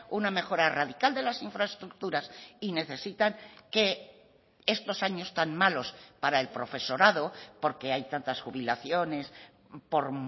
una mejora radical de las infraestructuras y necesitan que estos años tan malos para el profesorado porque hay tantas jubilaciones por